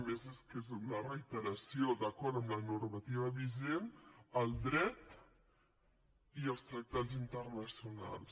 a més és que és una reiteració d’acord amb la normativa vigent el dret i els tractats internacionals